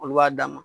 Olu b'a d'a ma